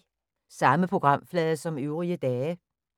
Samme programflade som øvrige dage